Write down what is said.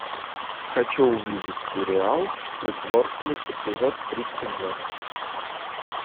хочу увидеть сериал притворство эпизод тридцать два